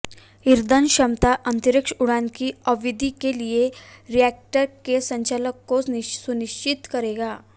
ईंधन क्षमता अंतरिक्ष उड़ान की अवधि के लिए रिएक्टर के संचालन को सुनिश्चित करेगा